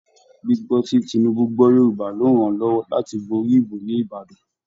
Gbígbọ́ tí Tinubu gbọ́ Yorùbá ló ràn-án lọ́wọ́ láti borí ìbò ní Ìbàdàn